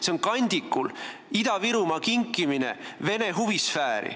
See on Ida-Virumaa kandikul kinkimine vene huvisfääri.